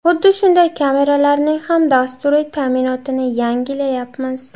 Xuddi shunday kameralarning ham dasturiy ta’minotini yangilayapmiz.